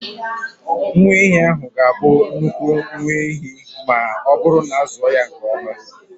Nwa ehi ahụ ga-abụ nnukwu nwa ehi ma ọ bụrụ na a zụọ ya nke ọma.